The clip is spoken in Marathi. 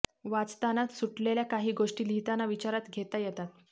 वाचताना सुटलेल्या काही गोष्टी लिहिताना विचारात घेता येतात